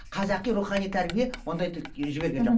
қазақи рухани тәрбие ондайды жіберген жоқ